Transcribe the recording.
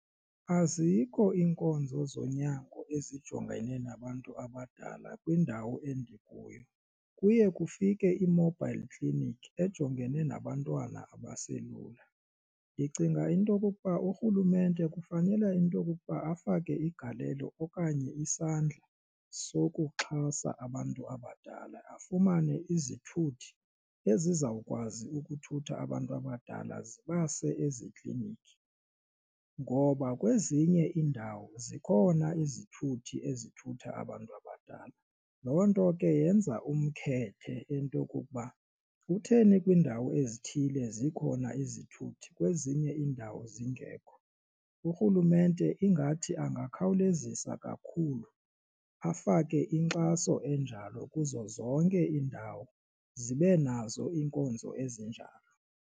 Azikho iinkonzo zonyango ezijongene nabantu abadala kwindawo endikuyo kuye kufike ii-mobile clinic ejongene nabantwana abaselula, ndicinga into okokuba urhulumente kufanele into okokuba afake igalelo okanye isandla sokuxhasa abantu abadala afumane izithuthi ezizawukwazi ukuthutha abantu abadala zibase ezikliniki. Ngoba kwezinye iindawo zikhona izithuthi ezithutha abantu abadala loo nto ke yenza umkhethe into yokokuba kutheni kwiindawo ezithile zikhona izithuthi kwezinye iindawo zingekho, urhulumente ingathi angakhawulezisa kakhulu afake inkxaso enjalo kuzo zonke iindawo zibe nazo iinkonzo ezinjalo.